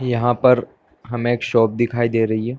यहाँ पर हमे एक शॉप दिखाई दे रही है।